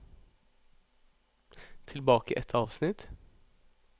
Tilbake ett avsnitt